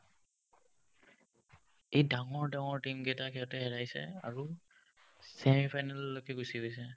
এই ডাঙৰ ডাঙৰ team কেইটাক সিহতে হেৰাইছে আৰু semifinal লৈকে গুচি গৈছে ।